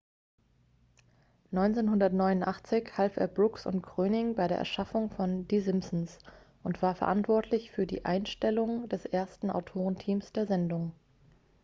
1989 half er brooks und groening bei der erschaffung von die simpsons und war verantwortlich für die einstellung des ersten autorenteams der sendung